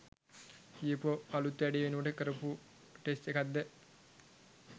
කියපු අලුත් වැඩේ වෙනුවෙන් කරපු ටෙස්ට් එකක්ද?